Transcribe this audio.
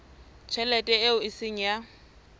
tjhelete eo e seng ya